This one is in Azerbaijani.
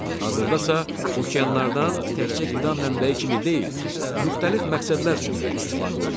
Hazırda isə okeanlardan təkcə qida mənbəyi kimi deyil, müxtəlif məqsədlər üçün də istifadə olunur.